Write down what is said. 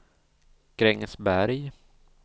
Grängesberg